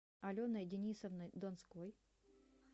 аленой денисовной донской